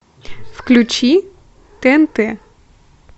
включи тнт